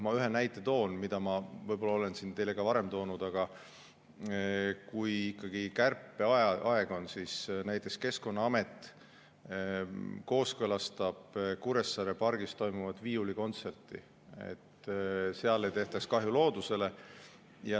Ma ühe näite toon, mida ma olen siin teile võib-olla ka varem toonud: kui kärpeaeg on, siis näiteks Keskkonnaamet kooskõlastab Kuressaare pargis toimuvat viiulikontserti, et seal ei tehtaks kahju loodusele.